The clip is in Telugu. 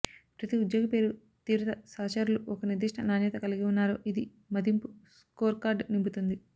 ప్రతి ఉద్యోగి పేరు తీవ్రత సహచరులు ఒక నిర్దిష్ట నాణ్యత కలిగి ఉన్నారో ఇది మదింపు స్కోర్కార్డ్ నింపుతుంది